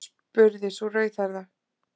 spurði sú rauðhærða.